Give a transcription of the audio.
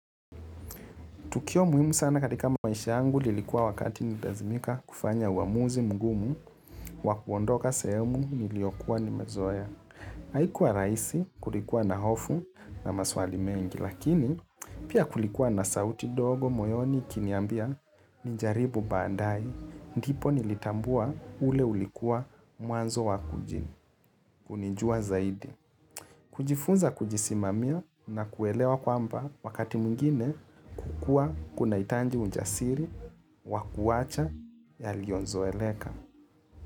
Tukio muhimu sana katika maisha yangu lilikuwa wakati nilipolazimika kufanya uamuzi mgumu wa kuondoka sehemu niliyokuwa nimezoea. Haikuwa rahisi, kulikuwa na hofu na maswali mengi, lakini pia kulikuwa na sauti ndogo moyoni ikiniambia nijaribu baadaye ndipo nilipotambua ule ulikuwa mwanzo wa kujitambua zaidi. Kujifunza kujisimamia na kuelewa kwamba wakati mwingine kukua kunahitaji ujasiri wa kuacha yaliyozoeleka.